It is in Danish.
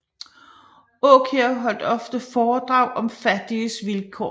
Aakjær holdt ofte foredrag om fattiges vilkår